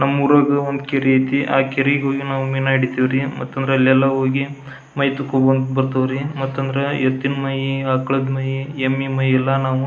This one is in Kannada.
ನಮ್ಮೂರಾಗ ಒಂದು ಕೆರೆ ಐತಿ ಆಹ್ಹ್ ಕೆರೆಗೆ ಹೋಗಿ ಮೀನಾ ಹಿಡಿತೀವ್ರಿ ಮತ್ತಂದ್ರ ಅಲ್ಲೆಲ್ಲ ಹೋಗಿ ಮೈತೊಕೊಂಬರ್ತಿವಿ ರೀ ಮತ್ತಂದ್ರ ಎತ್ತಿನ್ ಮೈ ಆಕಳ್ ಮೈ ಎಮ್ಮೆ ಮೈ ಎಲ್ಲಾ ನಾವು --